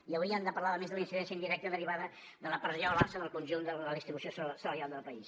i hauríem de parlar a més de la incidència indirecta derivada de la pressió a l’alça del conjunt de la distribució salarial del país